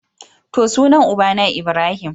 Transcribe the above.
To, sunan ubana Ibrahim.